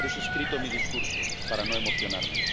Por eso he escrito mi discurso, para no emocionarme.